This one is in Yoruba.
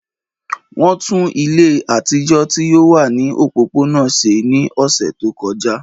Wọn tun ile atijọ ti o wa ni opopona ṣe ni ọsẹ to kọja.